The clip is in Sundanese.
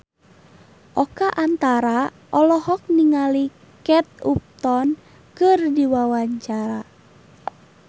Oka Antara olohok ningali Kate Upton keur diwawancara